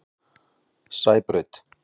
Sæbraut